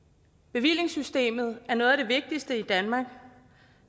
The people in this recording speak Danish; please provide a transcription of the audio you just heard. bevillingssystemet er noget af det vigtigste i danmark